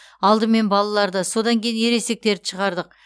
алдымен балаларды содан кейін ересектерді шығардық